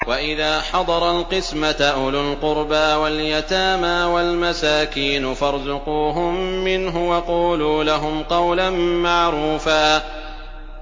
وَإِذَا حَضَرَ الْقِسْمَةَ أُولُو الْقُرْبَىٰ وَالْيَتَامَىٰ وَالْمَسَاكِينُ فَارْزُقُوهُم مِّنْهُ وَقُولُوا لَهُمْ قَوْلًا مَّعْرُوفًا